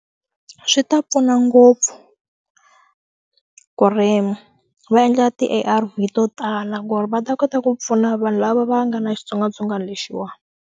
Swi ta pfuna ngopfu ku ri va endla ti A_R_V to tala ku ri va ta kota ku pfuna vanhu lava va nga na xitsongwatsongwana lexiwani.